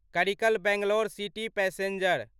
Karikal Bangalore city passenger